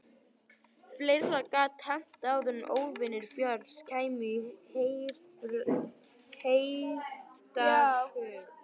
Fleira gat hent en að óvinir Björns kæmu í heiftarhug.